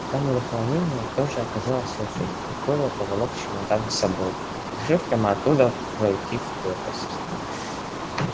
в камере хранения тоже оказалась очередь и коля поволок чемодан с собой решив прямо оттуда пройти в крепость